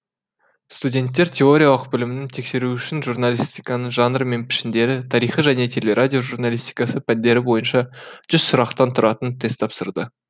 студенттер теориялық білімін тексеру үшін журналистиканың жанры мен пішіндері тарихы және телерадио журалистикасы пәндері бойынша жүз сұрақтан тұратын тест тапсырды